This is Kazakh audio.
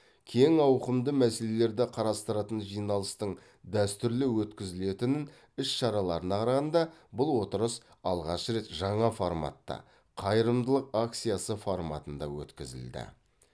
кең ауқымды мәселелерді қарастыратын жиналыстың дәстүрлі өткізілетін іс шараларына қарағанда бұл отырыс алғашқы рет жаңа форматта қайырымдылық акциясы форматында өткізілді